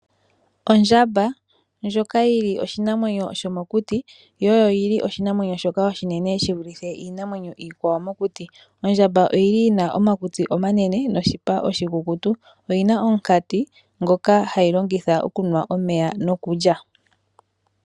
Ondjamba ndjoka yi li oshinamwenyo shomokuti yo oyi li oshinamwenyo shoka oshinene shi vulithe iinamwenyo iikwawo mokuti. Ondjamba oyi li yina omakutsi omanene noshipa oshikukutu . Oyina omukati ngoka hayi longitha okunwa omeya noku lya.